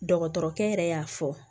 Dɔgɔtɔrɔkɛ yɛrɛ y'a fɔ